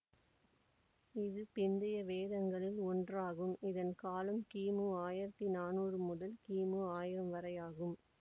இது பிந்தைய வேதங்களில் ஒன்று ஆகும் இதன் காலம் கிமு ஆயிரத்தி நானூறு முதல் கிமு ஆயிரம் வரை ஆகும்